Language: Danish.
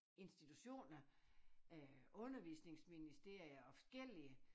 Insitutioner øh undervisningsministerier og forskellige